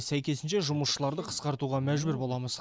сәйкесінше жұмысшыларды қысқартуға мәжбүр боламыз